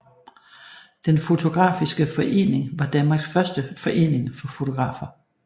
Den photographiske Forening var Danmarks første forening for fotografer